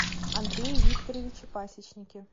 андрее викторовиче пасечнике